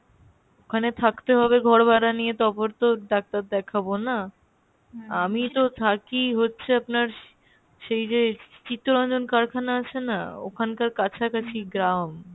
ওখানে থাকতে হবে ঘর ভাড়া নিয়ে তারপর তো ডাক্তার দেখাবো না? আমি তো থাকি হচ্ছে আপনার, সেই যে চিত্তরঞ্জন কারখানা আছে না? ওখানকার কাছাকাছি গ্রাম।